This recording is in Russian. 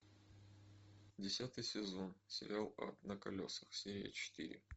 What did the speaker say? десятый сезон сериал ад на колесах серия четыре